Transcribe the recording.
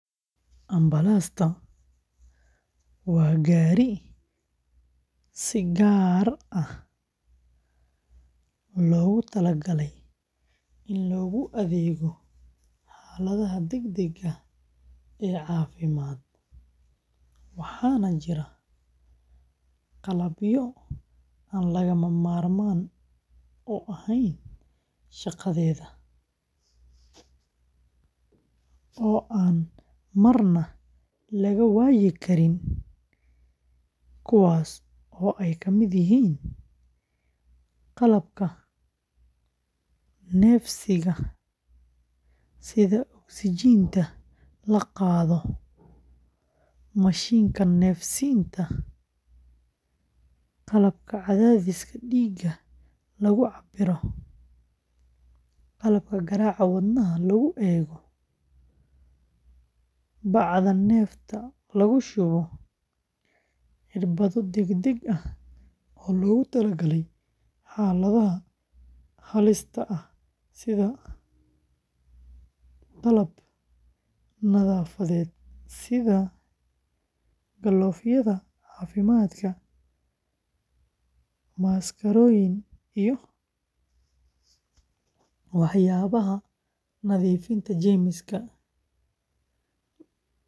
Ambalaasta waa gaari si gaar ah loogu talagalay in loogu adeego xaaladaha degdegga ah ee caafimaad, waxaana jira qalabyo aan lagama maarmaan u ahayn shaqadeeda oo aan marna laga waayi karin, kuwaas oo ay ka mid yihiin qalabka neefsiga sida oksijiinta la qaado, mishiinka neef-siinta, qalabka cadaadiska dhiigga lagu cabbiro, qalabka garaaca wadnaha lagu eeggo, bacda neefta lagu shubo, irbado degdeg ah oo loogu tala galay xaaladaha halista, qalab nadaafadeed sida galoofyada caafimaadka, maaskarooyin, iyo waxyaabaha nadiifinta jeermiska.